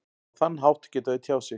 Á þann hátt geta þau tjáð sig.